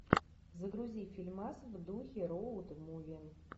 загрузи фильмас в духе роуд муви